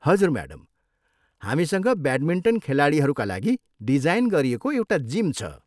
हजुर म्याडम, हामीसँग ब्याटमिन्टन खेलाडीहरूका लागि डिजाइन गरिएको एउटा जिम छ।